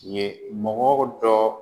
Ee mɔgɔ dɔ